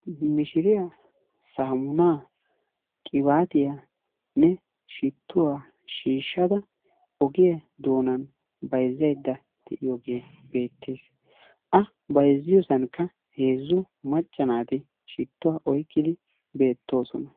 Mishiriya saamunaa, qibaatiyanne shittuwa shhshsada ogiya doonan bayizzayidda de'iyoogee beettes. A bayizziyosankka heezzu macca naati shittuwa oyikkidi beettoosona.